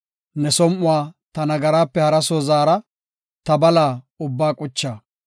Ne som7uwa ta nagaraape hara soo zaara; ta bala ubbaa qucha.